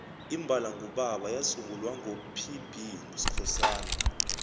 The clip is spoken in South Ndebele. imbala ngubaba yasungulwa ngo pb skhosana